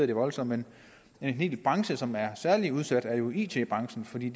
det voldsomt men en hel branche som er særlig udsat er jo it branchen fordi